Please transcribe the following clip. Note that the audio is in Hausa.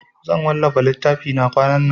Zan wallafa littafina kwanan nan.